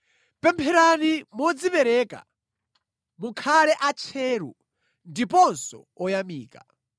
Pempherani modzipereka, mukhale atcheru ndiponso oyamika.